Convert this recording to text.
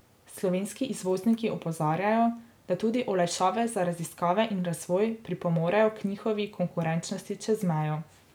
Slovenski izvozniki opozarjajo, da tudi olajšave za raziskave in razvoj pripomorejo k njihovi konkurenčnosti čez mejo.